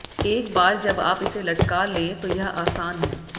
एक बार जब आप इसे लटका लें तो यह आसान है